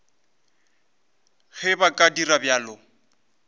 ge ba ka dira bjalo